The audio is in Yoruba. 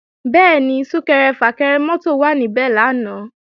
Bẹ́ẹ̀ni, Sún-kẹrẹ-fà-kẹrẹ mọ́tò wà níbẹ̀ lánàá